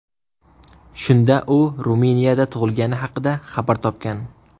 Shunda u Ruminiyada tug‘ilgani haqida xabar topgan.